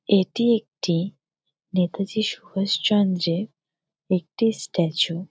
এটি একটি নেতাজি সুভাষ চন্দ্রের একটি স্ট্যাচু ।